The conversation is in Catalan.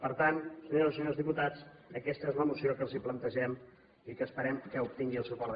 per tant senyores i senyors diputats aquesta és la moció que els plantegem i que esperem que obtingui el suport d’aquesta cambra